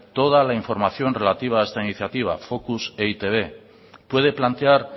toda la información relativa a esta iniciativa focus e i te be puede plantear